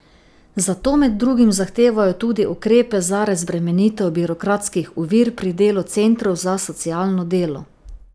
Zato med drugim zahtevajo tudi ukrepe za razbremenitev birokratskih ovir pri delu centrov za socialno delo.